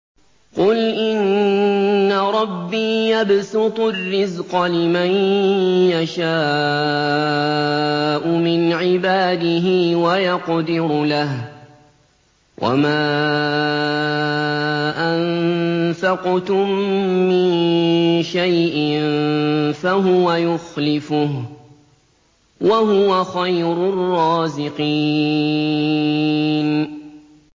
قُلْ إِنَّ رَبِّي يَبْسُطُ الرِّزْقَ لِمَن يَشَاءُ مِنْ عِبَادِهِ وَيَقْدِرُ لَهُ ۚ وَمَا أَنفَقْتُم مِّن شَيْءٍ فَهُوَ يُخْلِفُهُ ۖ وَهُوَ خَيْرُ الرَّازِقِينَ